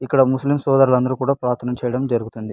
ఇక్కడ ముస్లిమ్ సోదరులు అందరు కూడా ప్రార్థన చేయడం జరుగుతింది.